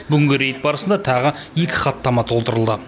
бүгінгі рейд барысында тағы екі хаттама толтырылды